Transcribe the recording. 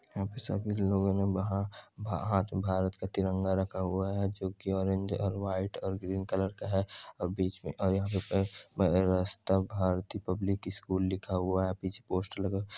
भैया खड़े हुए है जो की व्हाइट कलर की शर्ट और कलर की पैंट पहने है और सामने कुछ रंग-बिरंगे पैर रेलिंग मे पेंट भी पुती हुई है और सामने बहुत सारे दरवाजे दिखाई दे रहे है और यहा पे बहुत सारा पानी भी भरा हुआ है।